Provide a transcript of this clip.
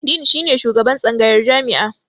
Din shi ne shugaban tsangayar jami'a.